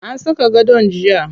An saka gadon jiya.